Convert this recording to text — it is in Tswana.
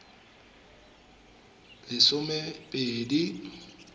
lesomepedi